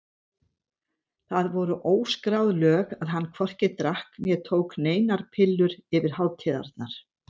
Það voru óskráð lög að hann hvorki drakk né tók neinar pillur yfir hátíðarnar.